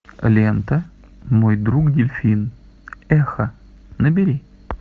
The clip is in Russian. лента мой друг дельфин эхо набери